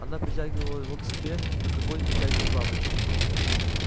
она притягивала его к себе как огонь притягивает бабочку